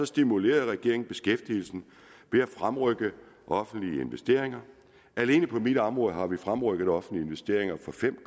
stimulerede regeringen beskæftigelsen ved at fremrykke offentlige investeringer alene på mit område har vi fremrykket offentlige investeringer for fem